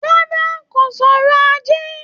Rárá, kò sọrọ̀ ajé